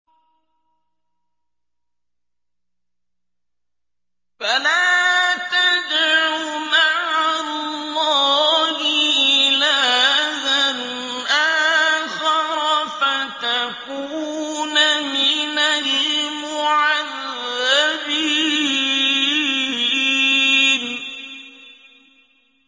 فَلَا تَدْعُ مَعَ اللَّهِ إِلَٰهًا آخَرَ فَتَكُونَ مِنَ الْمُعَذَّبِينَ